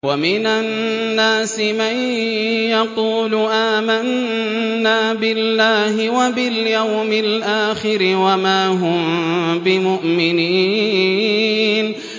وَمِنَ النَّاسِ مَن يَقُولُ آمَنَّا بِاللَّهِ وَبِالْيَوْمِ الْآخِرِ وَمَا هُم بِمُؤْمِنِينَ